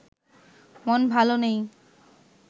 মন ভালো নেই